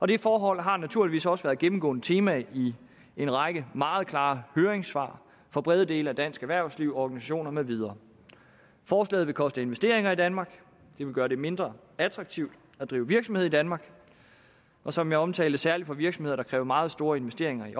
det forhold har naturligvis også været et gennemgående tema i en række meget klare høringssvar fra brede dele af dansk erhvervsliv organisationer med videre forslaget vil koste investeringer i danmark det vil gøre det mindre attraktivt at drive virksomhed i danmark og som jeg omtalte særlig for virksomheder der kræver meget store investeringer i